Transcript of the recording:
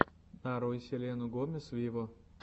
нарой селену гомес виво